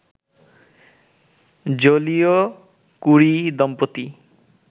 Joliot Curie দম্পতি